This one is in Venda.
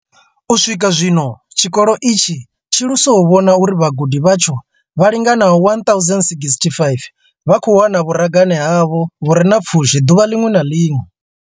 U swika zwino, tshikolo itshi tshi lusa u vhona uri vhagudi vhatsho vha linganaho 1 065 vha khou wana vhuragane havho vhu re na pfushi ḓuvha ḽiṅwe na ḽiṅwe.